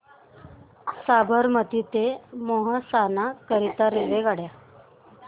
साबरमती ते मेहसाणा करीता रेल्वेगाड्या